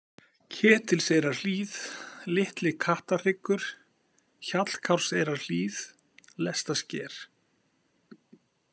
Ketilseyrarhlíð, Litli-Kattarhryggur, Hjallkárseyrarhlíð, Lestasker